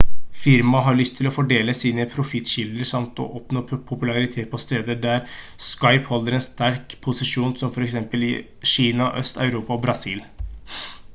firmaet har lyst til å fordele sine profittkilder samt å oppnå popularitet på steder der skype holder en sterk posisjon som for eksempel i kina øst-europa og brasil